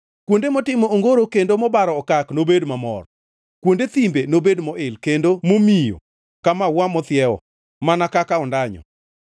Kuonde motimo ongoro kendo mobaro okak nobed mamor; kuonde thimbe nobed moil kendo momiyo ka maua mathiewo, mana kaka ondanyo,